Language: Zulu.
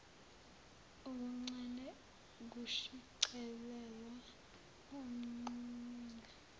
okuncane kushicilelwa emqulwini